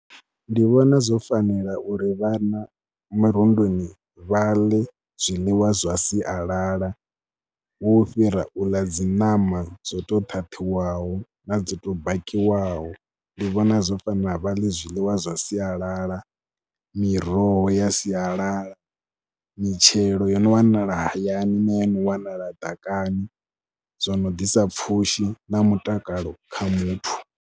Ndi vhona zwo fanela uri vhana mirunduni vha ḽe zwiḽiwa zwa sialala hu fhira u ḽa dzi ṋama dzo tou ṱhaṱhiwaho na dzo tou bakiwaho. Ndi vhona zwo fanela vha ḽe zwiḽiwa zwa sialala, miroho ya sialala, mitshelo yo no wanala hayani na yo no wanala ḓakani, zwo no ḓisa pfhushi na mutakalo kha muthu.